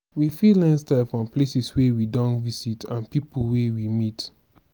we fit learn style from places wey we don visit and pipo wey we meet